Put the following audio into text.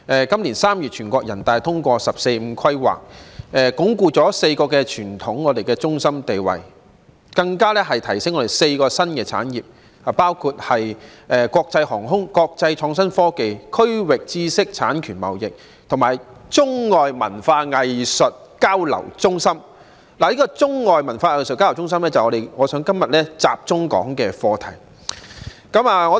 今年3月，全國人民代表大會通過"十四五"規劃，鞏固我們4個傳統中心地位，並提升我們的4個新產業，包括國際航空、國際創新科技、區域知識產權貿易，以及作為中外文化藝術交流中心，而中外文化藝術交流中心正是我今天想要集中討論的課題。